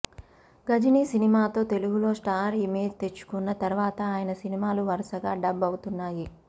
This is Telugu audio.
గజినీ సినిమాతో తెలుగులో స్టార్ ఇమేజ్ తెచ్చుకున్న తర్వాత ఆయన సినిమాలు వరుసగా డబ్ అవుతున్నాయి